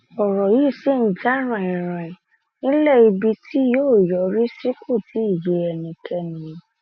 ọrọ yìí ṣì ń jà raninranin nílẹ ibi tí yóò yọrí sí kó tí ì yé ẹnikẹni